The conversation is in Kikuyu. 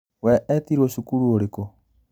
We etirwo cukuru ũrikũ?